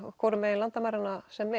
hvoru megin landamæranna sem